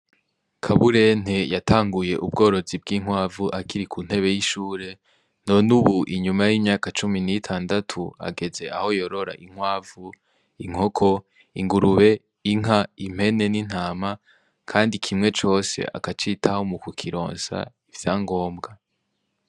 Kaburente yatanguye ubworozi bw'inkwavu akiri kuntebe y'ishule nonubu inyuma y'imyaka cumi nitandatu ageze aho yorora inkwavu, inkoko ingurube, inka ,impene ni ntama kandi kimwe cose akakitaho mukukironsa ivyangombwa.